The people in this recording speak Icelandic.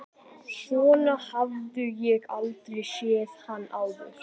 Svona hafði ég aldrei séð hann áður.